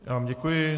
Já vám děkuji.